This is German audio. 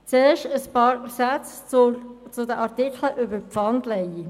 Zuerst möchte ich noch ein paar Sätze zu den betroffenen Artikeln 3, 8 und 11 sagen.